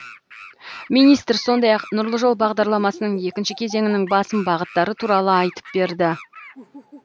министр сондай ақ нұрлы жол бағдарламасының екінші кезеңінің басым бағыттары туралы айтып берді